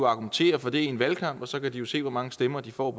argumentere for det i en valgkamp og så kan de se hvor mange stemmer de får